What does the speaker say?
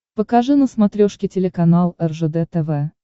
покажи на смотрешке телеканал ржд тв